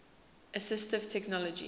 assistive technology